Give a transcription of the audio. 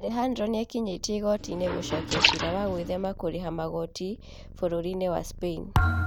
Alejandro nĩekinyĩtie igooti-inĩ gũcokia ciira wa gwĩthema kũrĩha magoti bũrũri-inĩ wa spain